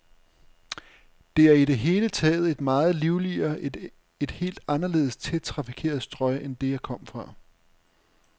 Det er i det hele taget et meget livligere, et helt anderledes tæt trafikeret strøg end det, jeg kom fra.